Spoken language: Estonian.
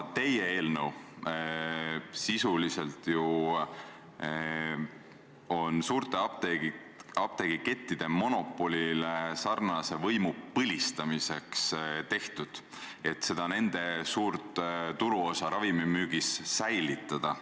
Teie eelnõu on aga sisuliselt suurte apteegikettide monopoliga sarnase võimu põlistamiseks tehtud, et nende suurt turuosa ravimimüügis säilitada.